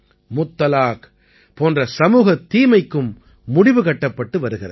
முத்தலாக் போன்ற சமூகத் தீமைக்கும் முடிவு கட்டப்பட்டு வருகிறது